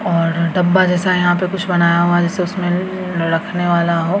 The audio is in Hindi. और डब्बा जैसा यहां पे कुछ बनाया हुआ जैसे उसमे ललल रखने वाला हो।